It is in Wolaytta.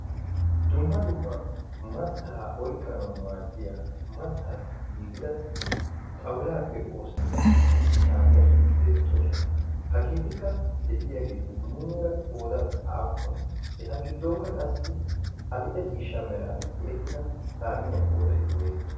Dumma dumma matta oyqqanaw maadiya mattassi giigida xawulappe oosetidda saaxineti beettoosona. hagetikka de'iyaageeti muleera qoodan aappune? eta giddonkka qassi adill''e meran tiyyetida saaxiniyaa qooday woysse?